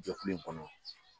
Jɔ fili in kɔnɔ.